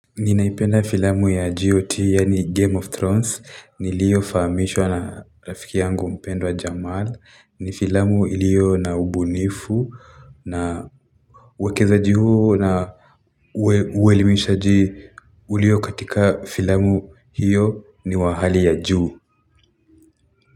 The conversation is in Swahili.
Ninaipenda filamu ya GOT yani game of thrones nilio faamishwa na rafiki yangu mpendwa jamal ni filamu ilio na ubunifu na wakeza juhu na uelimishaji ulio katika filamu hiyo ni wa hali ya juhu.